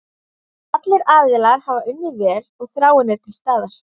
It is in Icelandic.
Allir aðilar hafa unnið vel og þráin er til staðar.